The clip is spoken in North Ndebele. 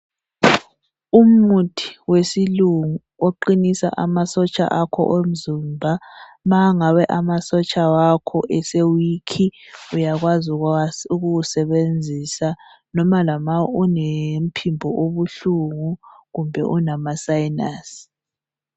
Umuthi wesilungu oqinisa amasotsha akho omzimba ma ingabe amasotsha akho ese wikhi uyakwazi ukuwusebenzisa noma ulomphimbo obuhlungu kumbe unama sayinasi.